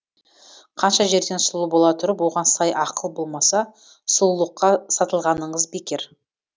қанша жерден сұлу бола тұрып оған сай ақыл болмаса сұлулыққа сатылғаныңыз бекер